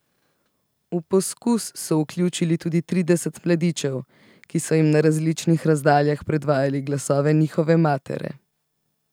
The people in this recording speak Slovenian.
V poskus so vključili tudi trideset mladičev, ki so jim na različnih razdaljah predvajali glasove njihove matere.